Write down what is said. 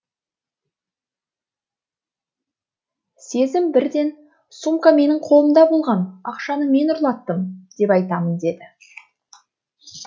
сезім бірден сумка менің қолымда болған ақшаны мен ұрлаттым деп айтамын деді